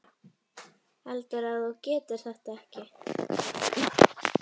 Heldurðu að þú getir þetta ekki?